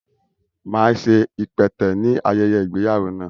Máa ṣe ipẹtẹ ní ayẹyẹ ìgbéyàwó náà